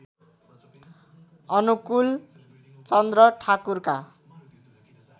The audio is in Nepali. अनुकुल चन्द्र ठाकुरका